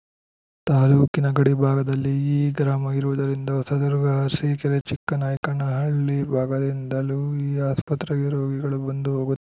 ತಾಲೂಕಿನ ಗಡಿಭಾಗದಲ್ಲಿ ಈ ಗ್ರಾಮ ಇರುವುದರಿಂದ ಹೊಸದುರ್ಗ ಅರಸೀಕೆರೆ ಚಿಕ್ಕನಾಯ್ಕನಹಳ್ಳಿ ಭಾಗದಿಂದಲೂ ಈ ಆಸ್ಪತ್ರೆಗೆ ರೋಗಿಗಳು ಬಂದು ಹೋಗು